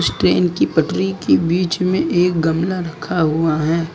Train की पटरी की बीच में एक गमला रखा हुआ है।